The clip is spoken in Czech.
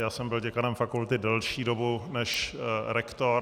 Já jsem byl děkanem fakulty delší dobu než rektorem.